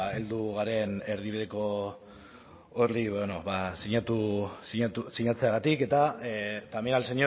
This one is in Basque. bueno heldu garen erdibideko hori sinatzeagatik y también